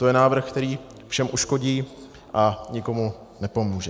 To je návrh, který všem uškodí a nikomu nepomůže.